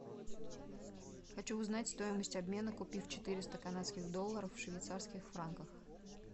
хочу узнать стоимость обмена купив четыреста канадских долларов в швейцарских франках